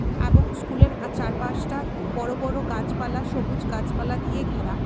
এবং স্কুলের আর চারপাশটা বড়ো বড়ো গাছপালা সবুজ গাছপালা দিয়ে ঘেরা.